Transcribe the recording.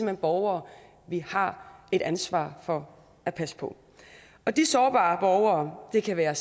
hen borgere vi har et ansvar for at passe på og de sårbare borgere det kan være